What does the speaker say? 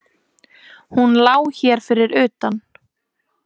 Hún lá hér fyrir utan.